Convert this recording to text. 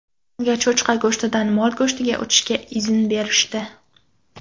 Unga cho‘chqa go‘shtidan mol go‘shtiga o‘tishga izn berishdi.